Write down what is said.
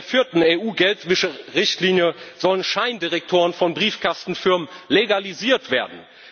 Mit der vierten EU Geldwäscherichtlinie sollen Scheindirektoren von Briefkastenfirmen legalisiert werden.